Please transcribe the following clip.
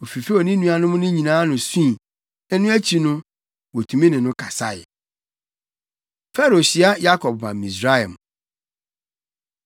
Ofifew ne nuanom no nyinaa ano sui, na ɛno akyi no, wotumi ne no kasae. Farao Hyia Yakob Ba Misraim